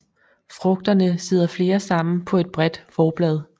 Frugterne sidder flere sammen på et bredt forblad